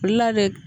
Olu la bɛ